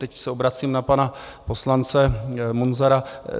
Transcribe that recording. Teď se obracím na pana poslance Munzara.